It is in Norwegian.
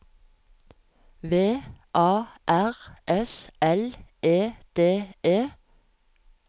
V A R S L E D E